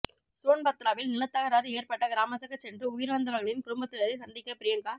சோன்பத்ராவில் நிலத்தகராறு ஏற்பட்ட கிராமத்துக்குச் சென்று உயிரிழந்தவர்களின் குடும்பத்தினரை சந்திக்க பிரியங்கா